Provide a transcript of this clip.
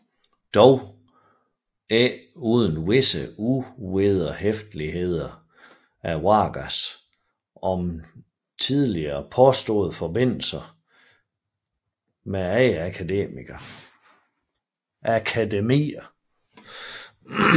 Dog ikke uden visse uvederhæftigheder af Vargas om tidligere påståede forbindelser med andre akademier